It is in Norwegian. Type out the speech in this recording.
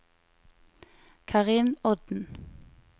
Karin Odden